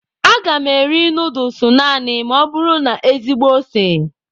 Aga m eri nudulus naanị ma ọ bụrụ na ezigbo ose.